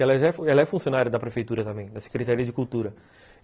Ela é funcionária da prefeitura também, da Secretaria de Cultura.